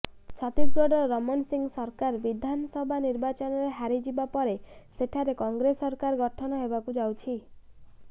ଛତିଶଗଡରେ ରମଣ ସିଂ ସରକାର ବିଧାନସଭ ନିର୍ବାଚନରେ ହାରିଯିବା ପରେ ସେଠାରେ କଂଗ୍ରେସ ସରକାର ଗଠନ ହେବାକୁ ଯାଉଛି